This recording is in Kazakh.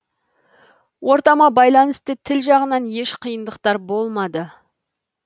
ортама байланысты тіл жағынан еш қиындықтар болмады